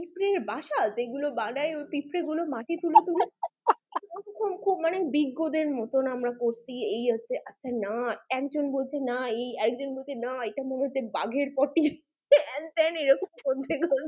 পিঁপড়ের বাসা যেগুলো বানায় পিঁপড়েগুলো মাটি তুলে তুলে খুব দিগ্গজ এর মতো আমরা করছি এই হচ্ছে আচ্ছা না একজন বলছে না এই আরেকজন বলছে না বাঘের potty হেন্ তেন এরকম করছে